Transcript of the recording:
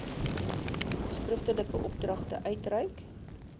skriftelike opdragte uitreik